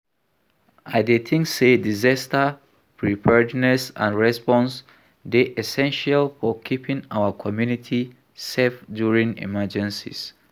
I dey think say disaster preparedness and response dey essential for keeping our community safe during emergencies.